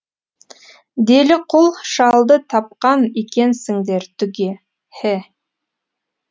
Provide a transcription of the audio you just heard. деліқұл шалды тапқан екенсіңдер түге һе